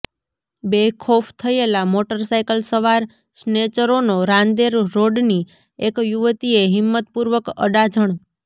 બેખૌફ થયેલા મોટરસાઇકલ સવાર સ્નેચરોનો રાંદેર રોડની એક યુવતીએ હિંમ્મત પૂર્વક અડાજણ